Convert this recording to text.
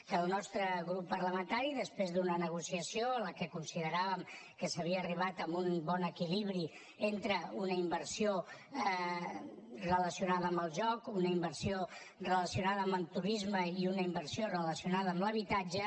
que el nostre grup parlamentari després d’una negociació en què consideràvem que s’havia arribat a un bon equilibri entre una inversió relacionada amb el joc una inversió relacionada amb el turisme i una inversió relacionada amb l’habitatge